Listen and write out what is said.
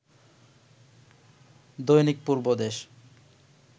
Dainik Purbadesh